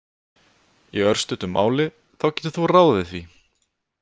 Í örstuttu máli þá getur þú ráðið því!